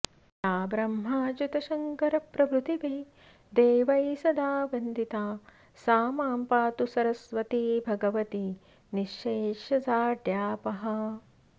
या ब्रह्माच्युतशन्करप्रभृतिभिः देवैः सदा वन्दिता सा मां पातु सरस्वती भगवती निःशेषजाड्यापहा